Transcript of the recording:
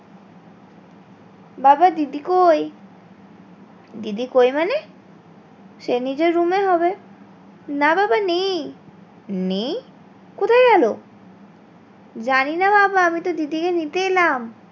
বাবা দিদি কোই? দিদি কোই মানে? সে নিজের room এ ই হবে না বাবা নেই নেই? কোথায় গেলো? জানি না বাবা আমি তো দিদি কে নিতে এলাম।